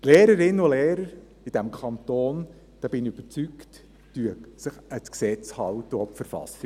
Die Lehrerinnen und Lehrer in diesem Kanton, davon bin ich überzeugt, halten sich an die Gesetze und auch an die Verfassung.